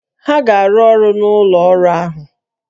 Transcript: Ha ga-arụ ọrụ n'ụlọ ọrụ ahụ!